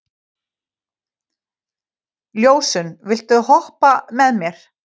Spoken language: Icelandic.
Ljósunn, viltu hoppa með mér?